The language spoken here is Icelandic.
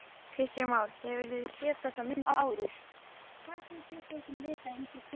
Kristján Már: Hefurðu séð þessar myndir áður?